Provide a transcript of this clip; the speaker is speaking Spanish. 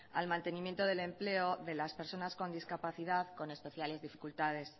al mantenimiento del empleo de las personas con discapacidad con especiales dificultades